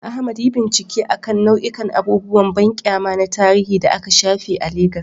Ahmad, yi bincike akan nau'ikan abubuwan banƙyama na tarihi da aka shafe a Legas.